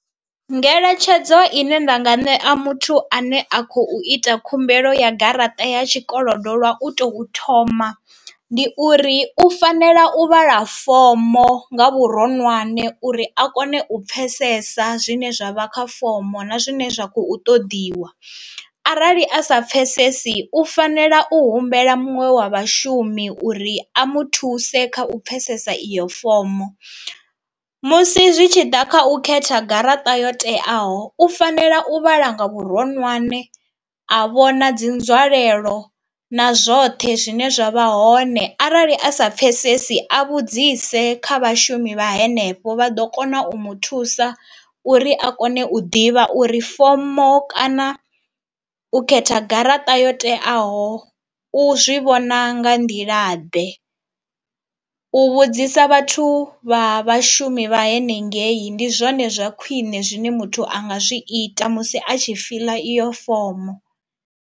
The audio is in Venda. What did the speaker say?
Ngeletshedzo ine nda nga ṋea muthu ane a khou ita khumbelo ya garaṱa ya tshikolodo lwa u tou thoma, ndi uri u fanela u vhala fomo nga vhuronwane uri a kone u pfhesesa zwine zwa vha kha fomo na zwine zwa khou ṱoḓiwa, arali a sa pfesesi u fanela u humbela muṅwe wa vhashumi uri a muthuse kha u pfesesa iyo fomo. Musi zwi tshi ḓa kha u khetha garaṱa yo teaho u fanela u vhala nga vhuronwane, a vhona dzi nzwalelo na zwoṱhe zwine zwa vha hone arali a sa pfesesi a vhudzise kha vhashumi vha henefho vha ḓo kona u muthusa uri a kone u ḓivha uri fomo kana u khetha garaṱa yo teaho u zwi vhona nga nḓila ḓe. U vhudzisa vhathu vha vhashumi vha henengei ndi zwone zwa khwine zwine muthu anga zwi ita musi a tshi fiḽa iyo fomo.